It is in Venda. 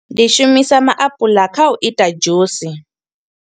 Ndi shumisa maapuḽa kha u ita dzhusi.